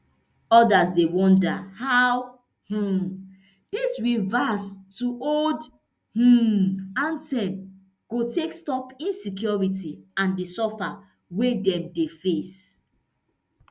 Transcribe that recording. odas dey wonder how um dis reverse to old um anthem go take stop insecurity and di suffer wey dem dey face